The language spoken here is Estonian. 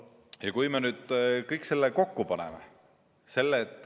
Ja paneme nüüd kõik selle kokku.